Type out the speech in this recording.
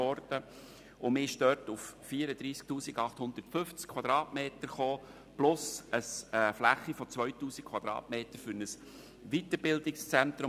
Man kam dort auf 34 850 Quadratmeter plus eine Fläche von 2000 Quadratmetern für ein Weiterbildungszentrum.